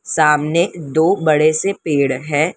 सामने दो बड़े से पेड़ है।